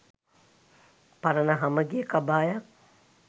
පරණ හමගිය කබායක්